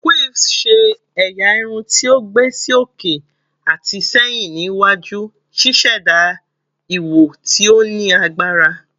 Quiffs ṣe ẹya irun ti o gba si oke ati sẹhin ni iwaju, ṣiṣẹda iwo ti o ni agbara